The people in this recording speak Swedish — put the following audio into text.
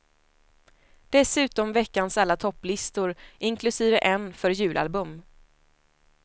Dessutom veckans alla topplistor, inklusive en för julalbum.